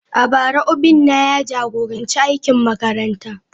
A bara, Obinna ya jagoranci aikin makaranta.